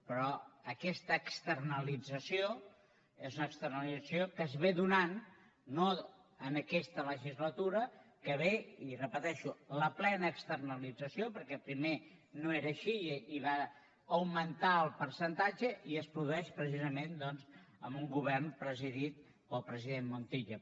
però aquesta externalització és una externalització que es dóna no en aquesta legislatura que ve i ho repeteixo la plena externalització perquè primer no era així i va augmentar el percentatge i es produeix precisament doncs amb un govern presidit pel president montilla